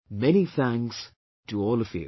Many thanks to all of you